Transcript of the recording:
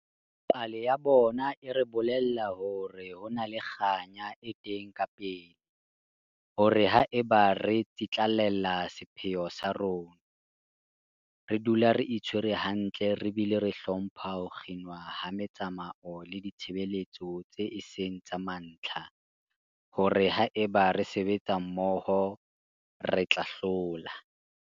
Pale ya bona e re bolella hore ho na le kganya e teng kapele, hore haeba re tsitlallela sepheo sa rona, re dula re itshwere hantle re bile re hlompha ho kginwa ha metsamao le ditshebeletso tseo e seng tsa mantlha, hore haeba re sebetsa mmoho, re tla hlola.